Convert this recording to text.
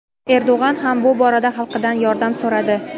Erdo‘g‘an ham bu borada xalqidan yordam so‘radi.